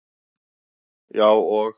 Já, og